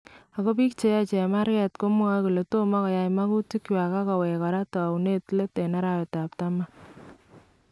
Ako biik cheyae chemarkeet komwae kole tomo keyae magutikchwak ak koweek koraa towunit leet en arawetab taman